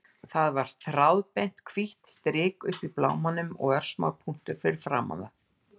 Það var þráðbeint, hvítt strik uppi í blámanum og örsmár punktur fyrir framan það.